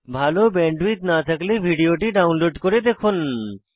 ভাল ব্যান্ডউইডথ না থাকলে ভিডিওটি ডাউনলোড করে দেখুন